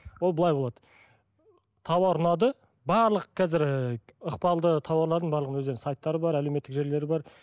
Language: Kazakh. ол былай болады тауар ұнады барлық қазір ііі ықпалды тауарлардың барлығының өздерінің сайттары бар әлеуметтік желілері бар